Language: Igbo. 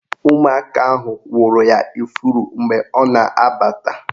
Ụmụaka ahụ wụrụ ya ifuru mgbe ọ na-abata